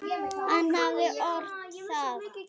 Hann hafði ort það.